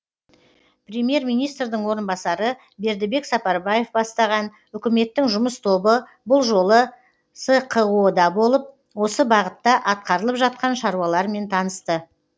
премьер министрдің орынбасары бердібек сапарбаев бастаған үкіметтің жұмыс тобы бұл жолы сқо да болып осы бағытта атқарылып жатқан шаруалармен танысты